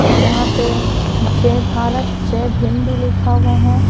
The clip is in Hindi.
जहाँ पे जय भारत जय भीम भी लिखा हुआ है।